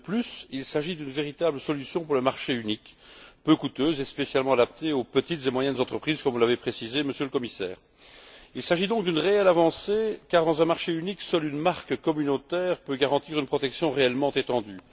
De plus, il s'agit d'une véritable solution pour le marché unique, peu coûteuse et spécialement adaptée aux petites et moyennes entreprises, comme vous l'avez précisé, Monsieur le Commissaire. Il s'agit donc d'une réelle avancée, car dans un marché unique, seule une marque communautaire peut garantir une protection réellement étendue.